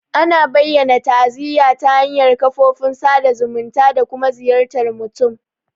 Ana bayyana ta'aziyya ta hanyar kafofin sada zumunta da kuma ziyartar mutum.